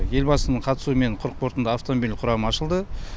елбасының қатысуымен құрық портында автомобиль құрамы ашылды